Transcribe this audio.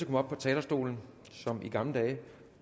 på talerstolen som i gamle dage